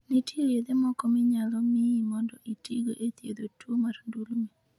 Nitie yedhe moko minyalo miyi mondo itigo e thiedho tuwo mar ndulme.